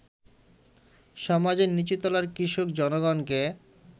সমাজের নীচুতলার কৃষক জনগণকে